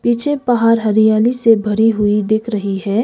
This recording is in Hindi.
पीछे पहाड़ हरियाली से भरी हुई दिख रही हैं।